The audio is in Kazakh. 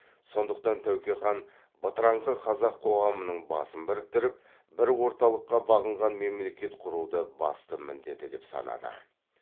сондықтан тәуке хан бытыраңқы қазақ қоғамының басын біріктіріп бір орталыққа бағынған мемлекет құруды басты міндеті деп санады